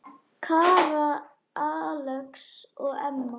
Kara, Alex og Emma.